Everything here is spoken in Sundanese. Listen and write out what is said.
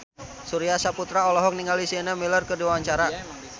Surya Saputra olohok ningali Sienna Miller keur diwawancara